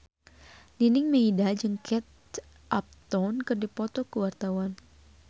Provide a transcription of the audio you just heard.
Nining Meida jeung Kate Upton keur dipoto ku wartawan